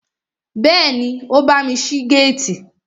Bẹ́ẹ̀ni, ó bámi ṣí géètì